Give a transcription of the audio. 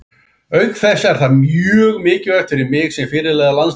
Auk þess er það mjög mikilvægt fyrir mig sem fyrirliða landsliðsins.